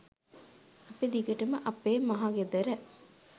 අපි දිගටම අපේ මහ ගෙදර